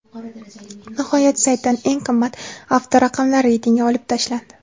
Nihoyat, saytdan eng qimmat avtoraqamlar reytingi olib tashlandi.